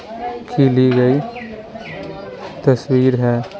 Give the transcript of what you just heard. की ली गई तस्वीर है।